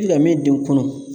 Laminiden kɔnɔ